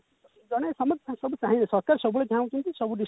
ଜେନ ସମସ୍ତେ ସବୁ ଚାହିଁବେ ସରକାର ସବୁବେଳେ ଚାହାନ୍ତି କି ସବୁ district